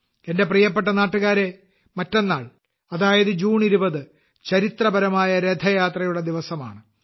എന്റെ പ്രിയപ്പെട്ട നാട്ടുകാരേ മറ്റന്നാൾ അതായത് ജൂൺ 20 ചരിത്രപരമായ രഥയാത്രയുടെ ദിവസമാണ്